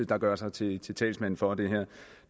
der gør sig til til talsmand for det her